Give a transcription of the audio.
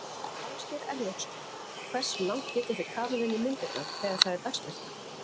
Ásgeir Erlendsson: Hversu langt getið þið kafað inn í myndirnar þegar það er dagsbirta?